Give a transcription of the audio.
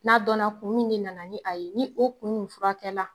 N'a donna kun min de nana ni a ye ni o kun in furakɛla